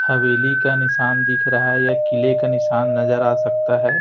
हवेली का निशान दिख रहा है या किले का निशान नजर आ सकता है।